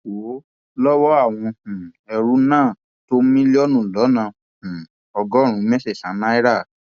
wọn lowó àwọn um ẹrú náà tó mílíọnù lọnà um ọgọrùnún mẹsànán náírà